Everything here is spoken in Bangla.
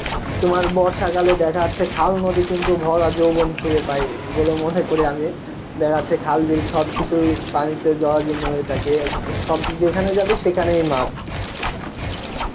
তোমার বর্ষাকালে দেখা যাচ্ছে, খাল বিল কিন্তু ভরা যৌবন ফিরে পায় ওগুলো মনে করি আমি, দেখা যাচ্ছে খাল বিল সব কিছুই পানিতে জরাজিন্ন হয়ে থাকে সব যেখানে যাবে সেখানেই মাছ